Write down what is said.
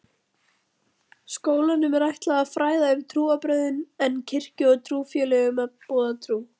Skólanum er ætlað að fræða um trúarbrögðin en kirkju og trúfélögum að boða trú.